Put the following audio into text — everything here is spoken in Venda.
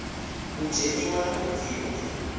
u dzheniwa na u bviwa